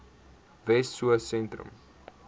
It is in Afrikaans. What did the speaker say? wessosentrum